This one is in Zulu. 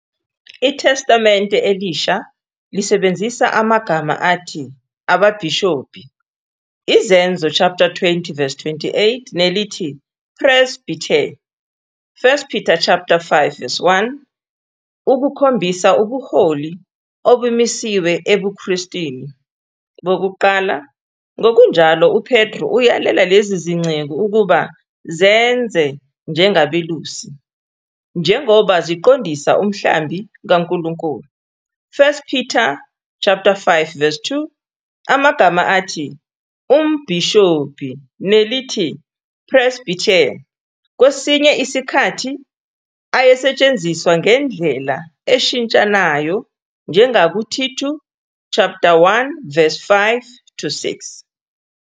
ITestamente Elisha lisebenzisa amagama athi "ababhishobhi", Izenzo 20-28, nelithi " presbyter ", 1 Peter 5- 1, ukukhombisa ubuholi obumisiwe ebuKristwini bokuqala. Ngokunjalo, uPetru uyalela lezi zinceku ukuba "zenze njengabelusi" njengoba "ziqondisa" umhlambi kaNkulunkulu, 1 Pet. 5- 2. Amagama athi "umbhishobhi" nelithi "presbyter" kwesinye isikhathi ayesetshenziswa ngendlela eshintshanayo, njengakuThithu 1- 5-6.